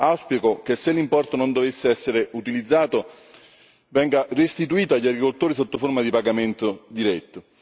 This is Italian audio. Auspico che se l'importo non dovesse essere utilizzato venga restituito agli agricoltori sotto forma di pagamento diretto.